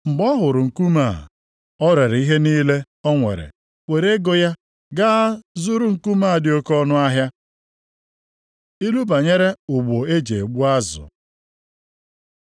Mgbe ọ hụrụ nkume a, o ree ihe niile o nwere, were ego ya gaa zụrụ nkume a dị oke ọnụahịa. Ilu banyere ụgbụ e ji egbu azụ